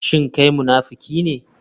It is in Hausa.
Shin kai munafiki ne?